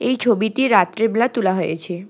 এই ছবিটি রাত্রেবেলা তোলা হয়েছে।